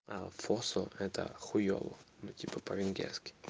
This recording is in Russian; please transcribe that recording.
а фосфор это хуйово ну типа по-венгерски